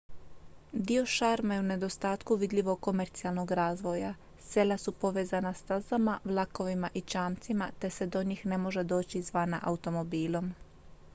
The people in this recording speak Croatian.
dio šarma je i u nedostatku vidljivog komercijalnog razvoja sela su povezana stazama vlakovima i čamcima te se do njih ne može doći izvana automobilom